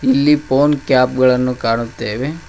ಇಲ್ಲಿ phone cap ಗಳನ್ನು ಕಾಣುತ್ತೇವೆ.